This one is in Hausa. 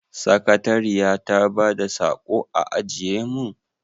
Sakatariya ta bada saƙo a ajiye mun?